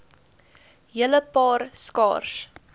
hele paar skaars